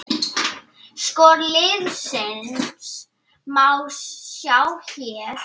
Skor liðsins má sjá hér